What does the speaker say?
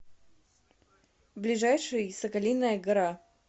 ближайший соколиная гора